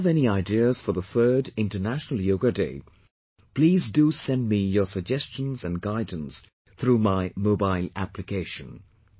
If you have any ideas for the Third International Yoga Day, please do send me your suggestions and guidance through my mobile Application